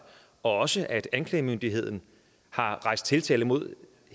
og også at anklagemyndigheden har rejst tiltale mod